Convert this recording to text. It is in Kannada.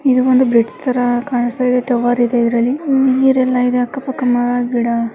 ಇದು ಒಂದು ಬ್ರಿಜ್ ತರಹ ಕಾಣಸ್ತಾ ಇದೆ ಟವರ್ ಇದೆ ಇದ್ರಲ್ಲಿ ನೀರ್ ಎಲ್ಲ ಇದೆ ಅಕ್ಕ ಪಕ್ಕ ಮರಗಿಡ --